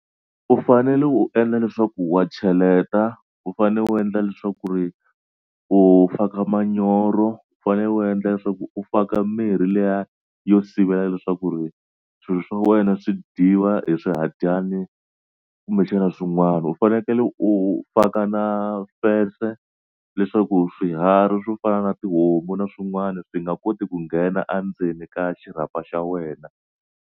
U fanele u endla leswaku wa cheleta. U fanele u endla leswaku ri u faka manyoro. U fanele u endla leswaku u faka mirhi liya yo sivela leswaku ri swilo swa wena swi dyiwa hi swihadyana kumbexana swin'wana. U fanekele u faka na fence leswaku swiharhi swo fana na tihomu na swin'wana swi nga koti ku nghena endzeni ka xirhapa xa wena.